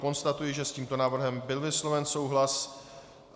Konstatuji, že s tímto návrhem byl vysloven souhlas.